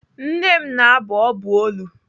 Nne m na-abụ ọbụ olu.